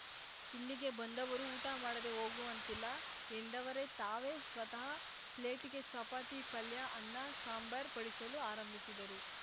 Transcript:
ಇಲ್ಲಿಗೆ ಬಂದವರು ಊಟ ಮಾಡದೇ ಹೋಗುವಂತಿಲ್ಲ ಎಂದವರೇ ತಾವೇ ಸ್ವತಃ ಪ್ಲೇಟಿಗೆ ಚಪಾತಿ ಪಲ್ಯ ಅನ್ನ ಸಾಂಬಾರ್‌ ಬಡಿಸಲು ಆರಂಭಿಸಿದರು